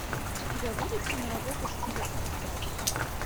у тебя будет киноработа в стиле арт хауса